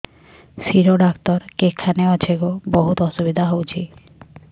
ଶିର doctor କେଖାନେ ଅଛେ ଗୋ ବହୁତ୍ ଅସୁବିଧା ହଉଚି